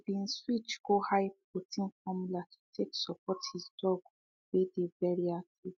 he been switch go high protein formula to take support he dog wey dey very active